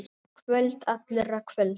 Kvöld allra kvölda.